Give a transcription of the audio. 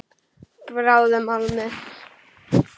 Bráðnum málmi.